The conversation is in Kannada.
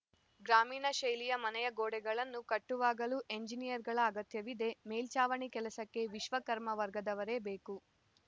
ಗ್ರಾಮೀಣ ಶೈಲಿಯ ಮನೆಯ ಗೋಡೆಗಳನ್ನು ಕಟ್ಟುವಾಗಲೂ ಎಂಜಿನಿಯರ್‌ಗಳ ಅಗತ್ಯವಿದೆ ಮೇಲ್ಚಾವಣಿ ಕೆಲಸಕ್ಕೆ ವಿಶ್ವಕರ್ಮ ವರ್ಗದವರೇ ಬೇಕು